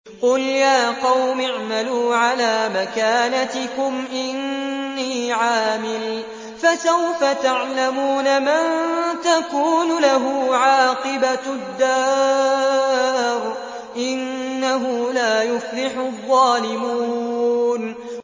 قُلْ يَا قَوْمِ اعْمَلُوا عَلَىٰ مَكَانَتِكُمْ إِنِّي عَامِلٌ ۖ فَسَوْفَ تَعْلَمُونَ مَن تَكُونُ لَهُ عَاقِبَةُ الدَّارِ ۗ إِنَّهُ لَا يُفْلِحُ الظَّالِمُونَ